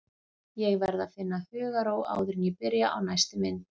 Ég verð að finna hugarró áður en ég byrja á næstu mynd.